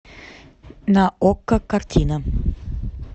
на окко картина